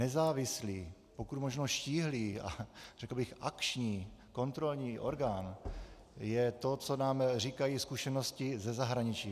Nezávislý, pokud možno štíhlý a řekl bych akční kontrolní orgán je to, co nám říkají zkušenosti ze zahraničí.